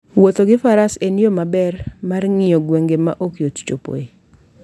Wuotho gi faras en yo maber mar ng'iyo gwenge ma ok yot chopoe.